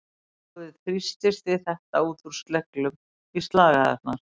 Blóðið þrýstist við þetta úr sleglum í slagæðarnar.